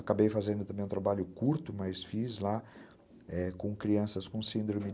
Acabei fazendo também um trabalho curto, mas fiz lá com crianças com síndrome